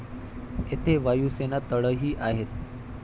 येथे वायुसेना तळही आहेत.